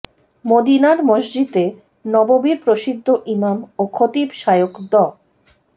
মদিনার মসজিদে নববির প্রসিদ্ধ ইমাম ও খতিব শায়খ ড